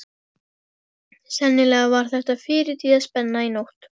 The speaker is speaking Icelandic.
Sennilega var þetta fyrirtíðaspenna í nótt.